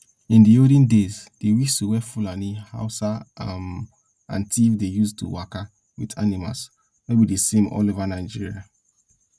in di olden days di whistle wey fulani hausa um and tiv dey use to waka with animals no be di same all over nigeria